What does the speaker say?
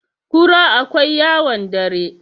kura akwai yawon dare